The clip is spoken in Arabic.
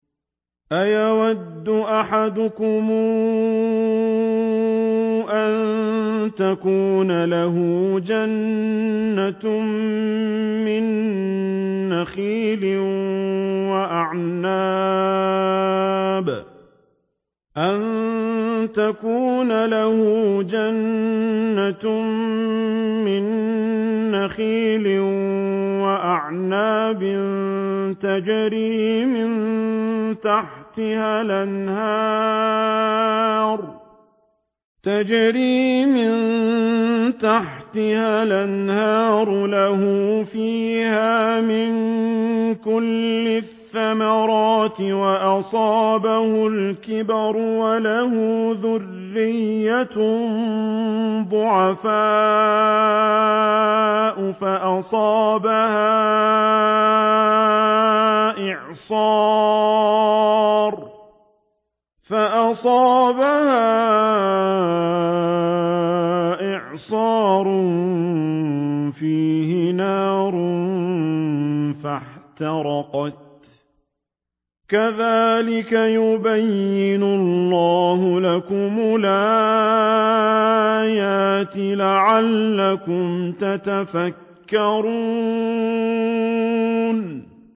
أَيَوَدُّ أَحَدُكُمْ أَن تَكُونَ لَهُ جَنَّةٌ مِّن نَّخِيلٍ وَأَعْنَابٍ تَجْرِي مِن تَحْتِهَا الْأَنْهَارُ لَهُ فِيهَا مِن كُلِّ الثَّمَرَاتِ وَأَصَابَهُ الْكِبَرُ وَلَهُ ذُرِّيَّةٌ ضُعَفَاءُ فَأَصَابَهَا إِعْصَارٌ فِيهِ نَارٌ فَاحْتَرَقَتْ ۗ كَذَٰلِكَ يُبَيِّنُ اللَّهُ لَكُمُ الْآيَاتِ لَعَلَّكُمْ تَتَفَكَّرُونَ